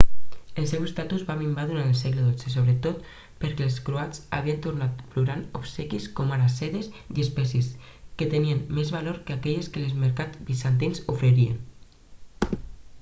el seu estatus va minvar durant el segle dotze sobretot perquè els croats havien tornat portant obsequis com ara sedes i espècies que tenien més valor que aquelles que els mercats bizantins oferien